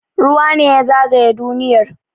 Ruwa ne ya zagaye duniyar